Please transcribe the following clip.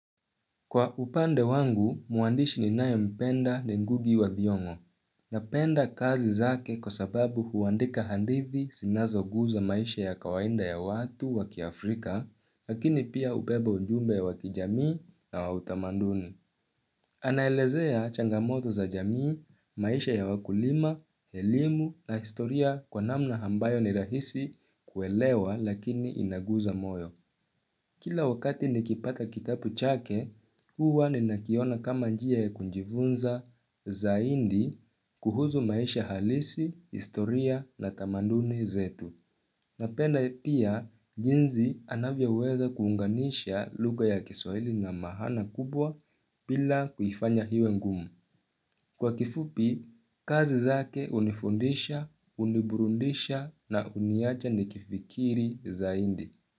Kwa upande wangu, mwandishi ni nayo mpenda ni ngugi wa thiongo. Napenda kazi zake kwa sababu huwandika handithi sinazo guza maisha ya kawaida ya watu waki Afrika, lakini pia hubeba ujumbe waki jamii na wautamanduni. Anaelezea changamoto za jamii, maisha ya wakulima, elimu na historia kwa namna ambayo ni rahisi kuelewa lakini inaguza moyo. Kila wakati nikipata kitabu chake, huwa ni nakiona kama njia ya kujifunza zaidi kuhusu maisha halisi, historia na tamanduni zetu. Napenda pia, jinsi anavyo weza kuunganisha luga ya kiswaili na mahana kubwa bila kufanya iwe ngumu. Kwa kifupi, kazi zake unifundisha, uniburundisha na uniaja nikifikiri zaidi.